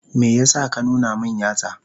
Me yasa ka nuna min yatsa?